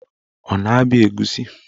Ọ na-abịa egusi?